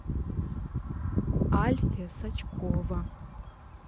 альфия сачкова